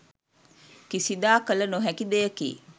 කිසිදා කළ නොහැකි දෙයකි